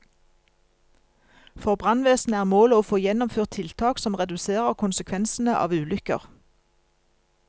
For brannvesenet er målet å få gjennomført tiltak som reduserer konsekvensene av ulykker.